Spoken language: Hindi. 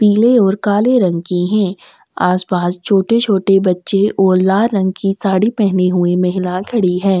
पिले और काले रंग की है आस-पास छोटे- छोटे बच्चे और लाल रंग की साड़ी पेहेने हुई महिला खड़ी है--